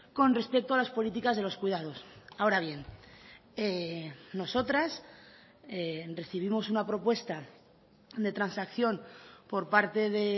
con respecto a las políticas de los cuidados ahora bien nosotras recibimos una propuesta de transacción por parte de